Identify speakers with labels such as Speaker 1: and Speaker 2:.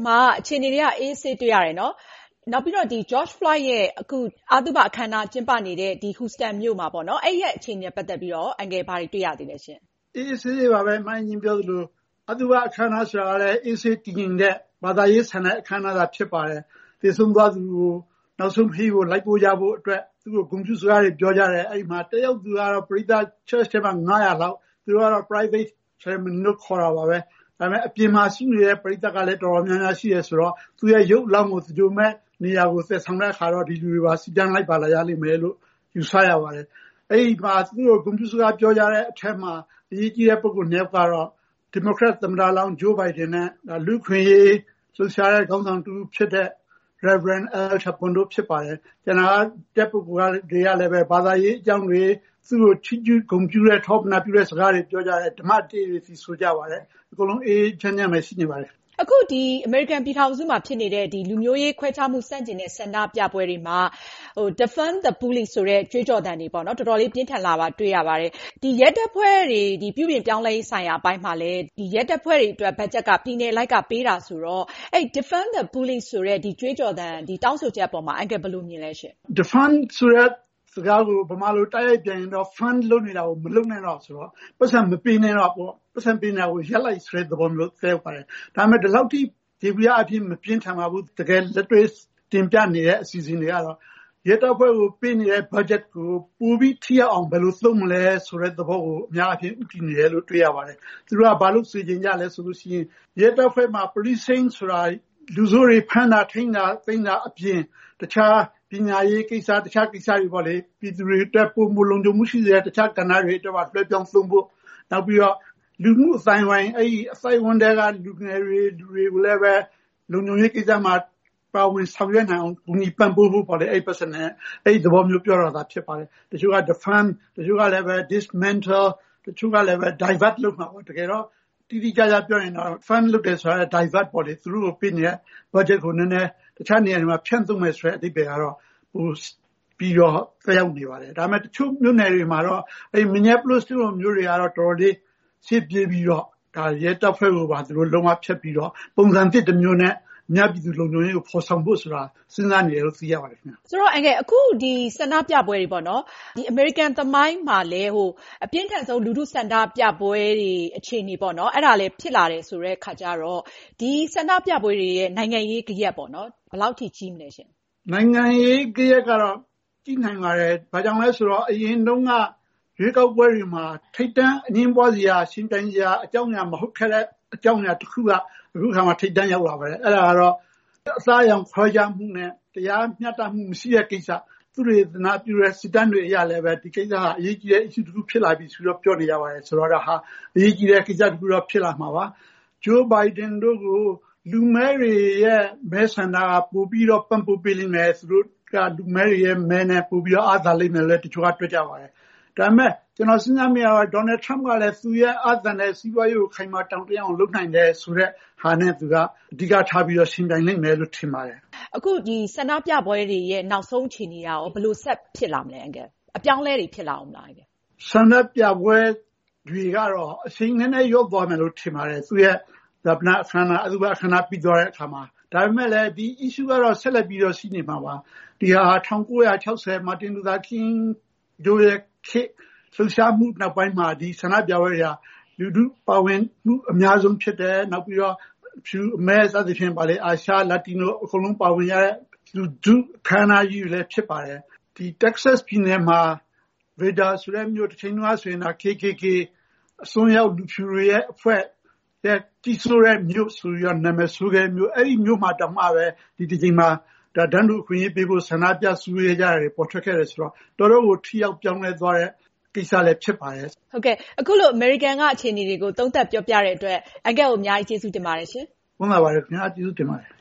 Speaker 1: မှာ အခြေအနေက အေးအေးဆေးဆေးဖြစ်တယ်နော် နောက်ပြီးတော့ George Floyd ရဲ့ အသုဘအခမ်းအနား ကျင်းပနေတဲ့ Huston မြို့အခြေအနေနဲ့ ပတ်သက်ပြီးတော့ အန်ကယ် ဘာတွေ တွေ့ရသေးသလဲ။
Speaker 2: အေးအေးဆေးဆေးပါပဲ မအင်ကြင်းပြောသလို အသုဘအခမ်းအနား ကလည်း အေးဆေးတည်ငြိမ်တဲ့ ဘာသာရေးဆန်တဲ့ အခမ်းအနားဖြစ်ပါတယ်။ သေဆုံးသွားသူရဲ့ နောက်ဆုံးခရီးကို လိုက်ပို့ကြဖို့အတွက် သူ့ကို ဂုဏ်ပြုစကားတွေ ပြောကြတယ် အဲဒီမှာ တက်ရောက်သူတွေကတော့ ၅၀၀ လောက် ၊ သူတို့ကတော့ Private ceremony လို့တော့ခေါ်တာပဲ ဒါပေမယ့် အပြင်မှာ ရှိနေတဲ့ ပရိသတ်ကလည်း တော်တော်များများရှိတယ်။ သူ့ရုပ်အလောင်းကို သင်္ဂြိုဟ်မယ့်နေရာကို သယ်ဆောင်တဲ့လူတွေပါ စီတန်းလိုက်ပါလာမယ်လို့ ယူဆရပါတယ်။ အဲဒီမှာ သူ့ကို ဂုဏ်ပြုပြောတဲ့ အထဲမှာ အရေးကြီးတဲ့ ပုဂိုလ် ၂ ယောက်ကတော့ ဒီမိုကရက် သမ္မတလောင်း Joe Biden နဲ့ လူ့အခွင့်အရေး လှုပ်ရှားတဲ့ ခေါင်းဆောင်တဦးဖြစ်တဲ့ Rev. Al Sharpton တို့ဖြစ်ပါတယ်။ ကျန်တဲ့လူတွေကလည်း သူ့ကို ချီးကျူးထောပဌာပြုတဲ့ စကားတွေ ပြောကြတယ် ဓမ္မတေးတွေ သီဆိုကြတယ် အားလုံး အေးအေးဆေးဆေး ရှိနေပါတယ်။
Speaker 1: အခု အမေရိကန်ပြည်ထောင်စုမှာ ဖြစ်နေတဲ့ လူမျိုးရေးခွဲခြားမှု ဆန့်ကျင်တဲ့ ဆန္ဒပြပွဲတွေမှာ "Defund the Police" ကြွေးကြော်သံတွေ တော်တော်လေးပြင်းထန်လာတာကို တွေ့ရပါတယ်။ ရဲတပ်ဖွဲ့တွေ ပြုပြင်ပြောင်းလဲရေးဆိုင်ရာအပိုင်းမှာ ရဲတပ်ဖွဲ့တွေအတွက် ဘတ်ဂျက်က ပြည်နယ်အလိုက်ပေးတာဆိုတော့ "Defund the Police" ကြွေးကြော်ချက်တွေအပေါ်မှာ အန်ကယ် ဘယ်လိုမြင်ပါသလဲ။
Speaker 2: Defund ဆိုတဲ့ စကားကို မြန်မာလို တိုက်ရိုက်ပြန်ရင်တော့ Fund လုပ်နေတာ မလုပ်နဲ့တော့ဆိုတော့ ပိုက်ဆံပေးနေတာ မပေးနဲ့တော့ ၊ ပိုက်ဆံပေးနေတာ ရပ်လိုက်ဆိုတဲ့ သဘောမျိုး သက်ရောက်ပါတယ် ဒါပေမယ့် ဒီလောက်အထိ ယေဘုယျအားဖြင့်တော့ မပြင်းထန်ပါဘူး တကယ်လက်တွေ့ တင်ပြနေတဲ့ အစီအစဉ်တွေကတော့ ရဲတပ်ဖွဲ့ကို ပေးနေတဲ့ ဘတ်ဂျက်ကို ပိုပြီးထိရောက်အောင် ဘယ်လို သုံးမလဲဆိုတဲ့သဘောကို အများအားဖြင့် ဦးတည်နေတယ်လို့ တွေ့ရပါတယ်။ သူတို့က ဘာလုပ်စေချင် သလဲဆိုတော့ရဲတပ်ဖွဲ့မှာ Policing ဆိုတာ လူဆိုးတွေကို ဖမ်းတာ ၊ ထိန်းတာ အပြင် တခြား ပညာရေးကိစ္စ ၊ ပြည်သူတွေအတွက် ပိုလုံခြုံမှု ရှိစေမယ့် တခြားကဏ္ဍတွေ တော်တော်များများ လွှဲပြောင်းသုံးဖို့ နောက်ပြီးတော့ လူထုအသိုင်းအဝိုင်း ထဲက လူငယ်တွေကိုလည်း လုံခြုံရေးကိစ္စမှာ ပါဝင်ဆောင်ရွက်နိုင်အောင် ကူညီပံ့ပိုးဖို့ပေါ့လေ အဲဒီပိုက်ဆံနဲ့ အဲဒီသဘောနဲ့ ပြောတာဖြစ်ပါတယ်။ တချို့က Defund ၊ Dismantle ၊ Divert လို့ပြောတယ် တကယ်တော့ တိတိကျကျ ပြောရင်တော့ Defund လုပ်တာ Divert ပေါ့လေ သူတို့ကို ပေးနေတဲ့ ဘတ်ဂျက်ကို တခြားနေရာတွေမှာ ဖြန့်သုံးဖို့ သက်ရောက်နေပါတယ်။ ဒါပေမယ့် တချို့မြို့နယ်တွေမှာတော့ Minneapolis လိုမြို့တွေမှာတော့ တော်တော်လေး ရှေ့ပြေးပြီးတော့ရဲတပ်ဖွဲ့ကို လုံး၀ ဖျက်ပြီးတော့ ပုံစံသစ် တမျိုးနဲ့ အများပြည်သူတွေရဲ့ လုံခြုံရေးကို ဖော်ဆောင်ဖို့ဆိုတာ စဉ်းစားနေတယ်လို့ သိရပါတယ်။
Speaker 1: ဆိုတော့ အခု ဒီ ဆန္ဒပြပွဲတွေပေါ့နော် အမေရိကန် သမိုင်းမှာလည်း အပြင်းထန်ဆုံး လူထု ဆန္ဒပြပွဲတွေအခြေအနေပေါ့နော် အဲဒါလည်း ဖြစ်လာတယ်ဆိုတဲ့အခါကျတော့ ဒီဆန္ဒပြပွဲတွေရဲ့ နိုင်ငံရေး ဂယက် ဘယ်လောက်အထိ ကြီးမလဲရှင့်။
Speaker 2: နိုင်ငံရေး ဂယက်ကတော့ ကြီးနိုင်ပါတယ်။ ဘာကြောင့်လဲဆိုတော့ အရင်တုန်းက ရွေးကောက်ပွဲတွေမှာ ထိပ်တန်း အငြင်းပွားစရာ ယှဉ်နိုင်စရာမဟုတ်ခဲ့တဲ့ အကြောင်းအရာ တခုက အခုအခါမှာ ထိပ်တန်းရောက်လာပါတယ်။ အဲဒါကတော့ အသားအရောင်ခွဲခြားမှုနဲ့ တရားမျှတမှု မရှိတဲ့ကိစ္စ ။ သုတေသနပြုတဲ့ စစ်တမ်းတွေအရလည်း ဒီကိစ္စဟာ အရေးကြီးတဲ့ အချက်တခု ဖြစ်လာပြီဆိုတာ ပြောနေပါတယ် ဆိုတော့ ဒါဟာ အရေးကြီးတဲ့ ကိစ္စတခုတော့ ဖြစ်လာမှာပါ။ Joe Biden တို့ကို လူမည်းတွေရဲ့ မဲဆန္ဒက ပိုပြီးတော့ ပံ့ပိုးပေးလိမ့်မယ် သူတို့က လူမည်းတွေရဲ့ မဲနဲ့ ပိုပြီးတော့ အားသာလိမ့်မယ်လို့ တချို့က တွက်ပါတယ်။ ဒါပေမယ့် ကျနော်စဉ်းစားမိတာကတော့ Donald Trump က သူ့ရဲ့ အားသန်တဲ့ စီးပွားရေးကို ခိုင်မာတောင့်တင်းအောင်လုပ်နိုင်တယ်ဆိုတဲ့ဟာနဲ့ အဓိက သူထားပြီးတော့ ယှဉ်ပြိုင်လိမ့်မယ်လို့ ထင်ပါတယ်။
Speaker 1: အခု ဆန္ဒပြပွဲတွေရဲ့ နောက်ဆုံးအခြေအနေကရော ဘယ်လို ဆက်ဖြစ်လာမလဲ။ အပြောင်းအလဲတွေ ဖြစ်လာဦးမလား။
Speaker 2: ဆန္ဒပြပွဲတွေကတော့ အရှိန်နည်းနည်းလျော့သွားမယ်လို့ ထင်ပါတယ် သူ့ရဲ့ အသုဘအခမ်းအနား ပြီးသွားတဲ့အခါမှာ ဒါပေမယ့် ဒီ Issue ကတော့ ဆက်ပြီးတော့ ရှိနေမှာပါ။ ဒါဟာ ၁၉၆၀ မာတင်လူသာကင်းတို့ခေတ် လှုပ်ရှားမှု နောက်ပိုင်းမှာ ဒီဆန္ဒပြပွဲဟာ လူထု ပါဝင်မှု အများဆုံးဖြစ်တယ်။ အဖြူ၊ အမဲ၊ အာရှ၊ လတီနို အားလုံးပါဝင်ကြတဲ့ လူထုအခမ်းအနားကြီးဖြစ်ပါတယ်။ ဒီ Texas ပြည်နယ်က ရေဒါဆိုတဲ့မြို့ တချိန်တုန်းက KKK အစွန်းရောက်အဖြူတွေရဲ့ အဖွဲ့ကြီးစိုးတဲ့ မြို့ဆိုပြီးတော့ နာမည် ဆိုးခဲ့တဲ့မြို့ အဲဒီမြို့မှာတောင်မှာ ဒီအခါမှာ တန်းတူအခွင့်အရေးပေးဖို့ ဆန္ဒပြ စည်းဝေးတာတွေ ပေါ်ထွက်ခဲ့တယ်ဆိုတော့ တော်တော့်ကို ထိရောက်ပြောင်းလဲသွားတဲ့ကိစ္စလည်း ဖြစ်ပါတယ်။
Speaker 1: ဟုတ်ကဲ့ အခုလို အမေရိကန်ကအခြေအနေတွေကို သုံးသပ်ပြောပြသွားတဲ့အတွက် အန်ကယ်ကို အများကြီး ကျေးဇူးတင်ပါတယ်။
Speaker 2: ကျေးဇူးတင်ပါတယ်